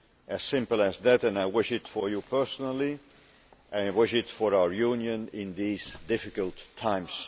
As simple as that and I wish it for you personally and I wish it for our Union, in these difficult times.